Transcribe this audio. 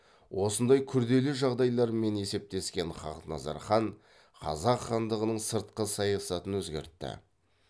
осындай күрделі жағдайлармен есептескен хақназар хан қазақ хандығының сыртқы саясатын өзгертті